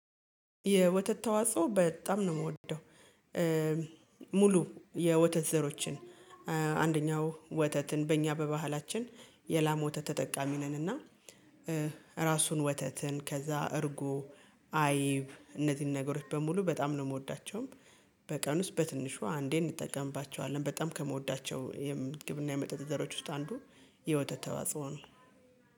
የወተት ተዋጽኦ በጣም ነው የምወደው። ሙሉ የወተት ዘሮችን አንደኛው ወተትን በእኛ በባህላችን የላሞ ወተት ተጠቃሚ ነንና። ራሱን ወተትን ከዛ እርጉ አይብ እነዚህን ነገሮች በሙሉ በጣም ነው የምወዳቸው። በቀን ውስጥ በትንሹ አንዴ እንጠቀምባቸዋለን በጣም ከምወዳቸው የምትግብና የመጠጥ ዘሮች ውስጥ አንዱ የ ወተት ተዋጽኦ ነው